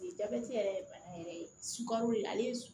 Jabɛti yɛrɛ ye bana yɛrɛ ye sukaro ale